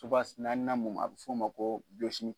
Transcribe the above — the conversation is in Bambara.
naanina mun ma a bɛ f'o ma ko